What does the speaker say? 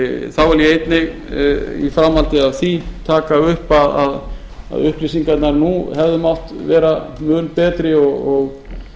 þá vil ég einnig í framhaldi af því taka upp að upplýsingarnar nú hefðu mátt vera mun betri og